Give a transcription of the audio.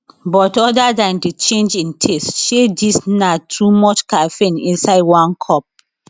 but other dan di change in taste shey dis na too much caffeine inside one cup